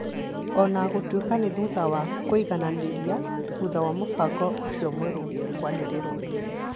Ona gũtuĩka nĩ thutha wa kũigananĩrĩa thutha wa mũbango ũcio mwerũ kwanĩrĩrwo